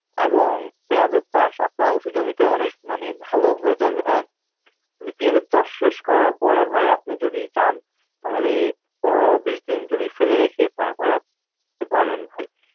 এবং পেঁয়াজের চাষ আপনার উচু জমিতে অনেক মানে ভালো হয়ে যাবে হ্যাঁ. কিন্তু পিয়াজের চাষ শেষ করার পরে ভাই আপনি যদি চান তাহলে পনেরো বিশ দিন জমি ফেলে রেখে তারপরে আপ বলেন ভাই